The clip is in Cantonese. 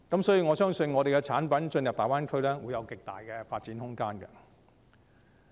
所以，我相信本港產品進入大灣區，將會有極大的發展空間。